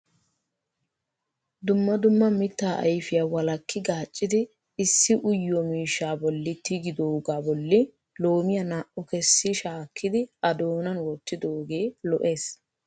Dumma dumma mitta ayfiyaa walakki gaaccidi issi uyyiyoo miishshaa bolli tiggidooga bolli loomiyaa naa"u kessi shaakkidi a doonan wottidooge lo"ees.